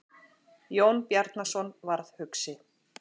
Jón Bjarnason varð hugsi.